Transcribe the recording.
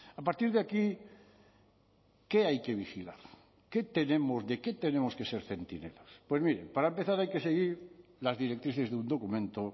a partir de aquí qué hay que vigilar qué tenemos de qué tenemos que ser centinelas pues mire para empezar hay que seguir las directrices de un documento